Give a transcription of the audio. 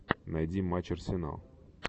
найди матч арсенал